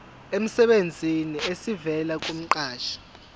emsebenzini esivela kumqashi